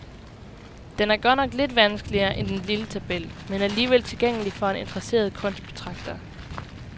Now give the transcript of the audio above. Den er godt nok lidt vanskeligere end den lille tabel, men alligevel tilgængelig for en interesseret kunstbetragter.